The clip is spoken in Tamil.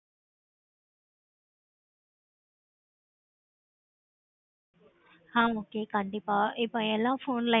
வந்துட்டு இருக்குது five G phones இந்த மாதிரி introduce பண்ணுவாங்க ஆஹ் okay கண்டிப்பா